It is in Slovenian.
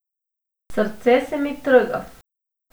Srce se mi trga.